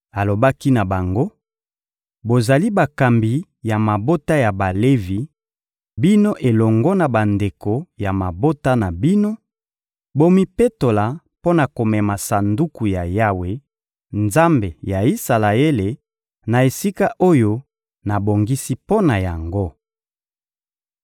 Alobaki na bango: «Bozali bakambi ya mabota ya Balevi, bino elongo na bandeko ya mabota na bino; bomipetola mpo na komema Sanduku ya Yawe, Nzambe ya Isalaele, na esika oyo nabongisi mpo na yango.